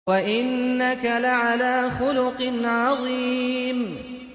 وَإِنَّكَ لَعَلَىٰ خُلُقٍ عَظِيمٍ